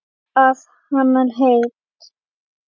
Að halda heit